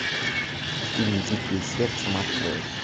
фильм дикие сердцем открой